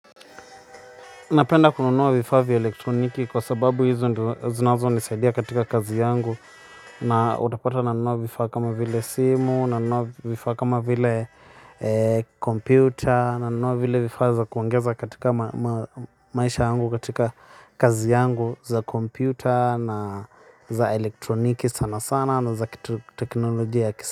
Napenda kununua vifaa vya elektroniki kwa sababu hizo ndio huwa zinazonisaidia katika kazi yangu na utapata nanunua vifaa kama vile simu, nanunua vifaa kama vile kompyuta, nanunua vile vifaa za kuongeza katika maisha yangu katika kazi yangu za kompyuta na za elektroniki sana sana na za teknolojia.